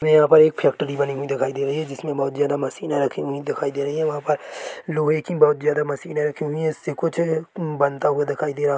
यहाँ पर एक फैक्ट्री बनी हुई दिखाई दे रही है जिसमे बहुत ज्यादा मशीने रखी हुई दिखाई दे रही है वहाँ पर लोहे की बहुत ज़्यादा मशीने रखी हुई है जिससे कुछ बनता हुआ दिखाई दे रहा--